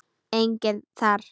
Enginn þar.